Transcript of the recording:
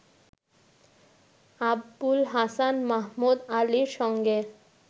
আবুল হাসান মাহমুদ আলীর সঙ্গে